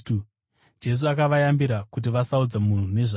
Jesu akavayambira kuti vasaudza munhu nezvake.